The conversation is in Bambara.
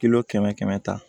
Kililo kɛmɛ kɛmɛ ta